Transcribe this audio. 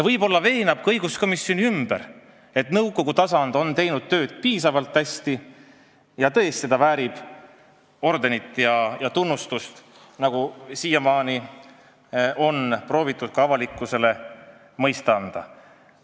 Võib-olla veenab ta õiguskomisjoni ümber, et nõukogu tasand on teinud oma tööd piisavalt hästi ja väärib ordenit ja tunnustust, nagu siiamaani on proovitud ka avalikkusele mõista anda.